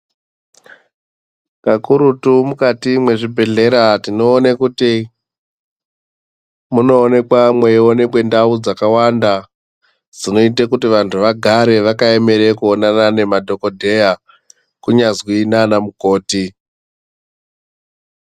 Kakurutu mukati mwezvibhehleya tinoone kuti munoonekwa mweionekwe ndau dzakawanda dzinoite kuti vanhu vagare vakaemera kuonana nemadhokodheya kunyazwi nanamukoti.